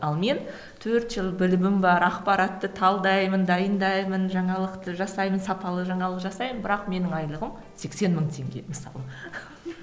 ал мен төрт жыл білімім бар ақпаратты талдаймын дайындаймын жаңалықты жасаймын сапалы жаңалық жасаймын бірақ менің айлығым сексен мың теңге мысалы